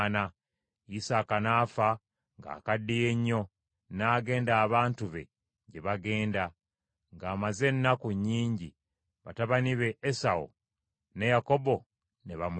Isaaka n’afa ng’akaddiye nnyo n’agenda abantu be gye bagenda, ng’amaze ennaku nnyingi, batabani be Esawu ne Yakobo ne bamuziika.